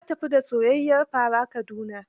Ta tafi da soyayyiyar fara Kaduna